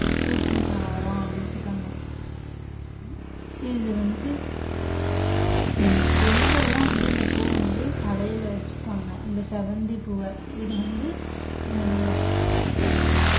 பூக்கும் தாவரம் அப்படீன்னு சொல்றாங்க இது வந்து உம் பெண்கள்லாம் வந்து இந்த பூவ வந்து தலையில வச்சுப்பாங்க இந்த செவ்வந்திப்பூவ இது வந்து அஹ்